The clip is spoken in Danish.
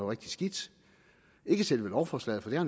rigtig skidt ikke selve lovforslaget for det har